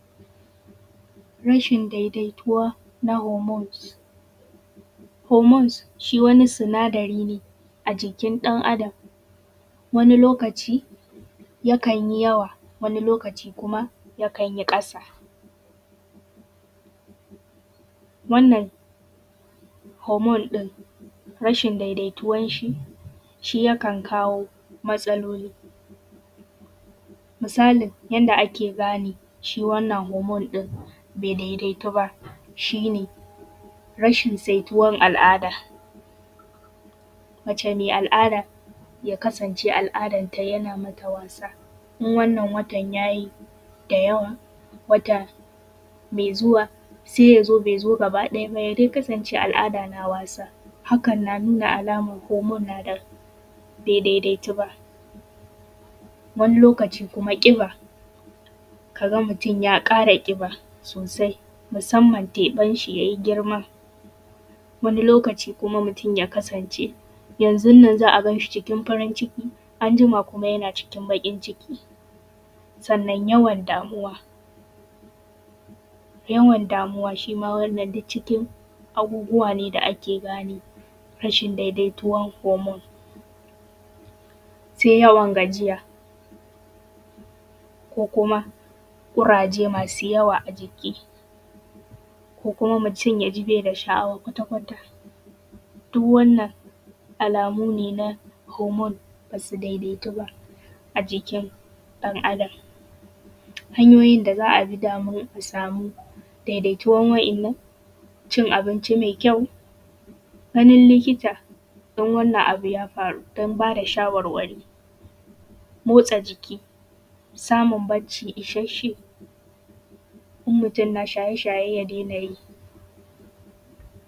Rashin daidaituwa na homones, homones shi wani sinadari ne a jikin ɗan Adam wani lokaci yakan yi yawa wani lokaci kuma yakan yi ƙasa, wannan homone ɗin rashin daidaituwan shi, shi yakan kawo matsaloli, misalin yanda ake gane shi wannan homone ɗin bai daidaitu ba shi ne rashin saituwan al`ada mace mai al`ada ya kasance al`adan ta yana mata wasa, in wanna watan yayi da yawa wata mai zuwa sai yazo bai zo gaba ɗaya bay a dai kasance al`ada na wasa hakan na nuna alaman homone na da bai daidaitu ba, wani lokaci kuma ƙiba kaga mutum ya ƙara ƙiba sosai musamman teɓan shi yayi girma wani lokaci kuma mutum ya kasance yanzun nan za a ganshi cikin farin ciki anjima kuma yana cikin baƙin ciki sannan yawan damuwa, yawan damuwa shi ma wannan duk cikin abubuwa ne da ake gane rashin daidaituwan “homone,” sai yawan gajiya ko kuma ƙuraje masu yawa a jiki ko kuma mutum yaji bai da sha`awa kwata kwata duk wannan alamu ne na homone basu daidaitu ba a jikin ɗan Adam, hanyoyin da za a bi da mu a samu daidaituwan wa`yannan, cin abinci mai kyau, ganin likita in wannan abu ya faru dan ba da shawarwari, motsa jiki, samun bacci ishshashshein mutum na shaye shaye ya daina yi.